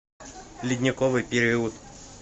ледниковый период